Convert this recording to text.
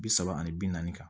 Bi saba ani bi naani kan